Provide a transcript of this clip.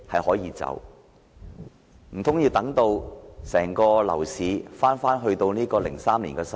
難道要等樓市返回2003年的情況？